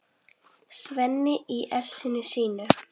Svenni í essinu sínu.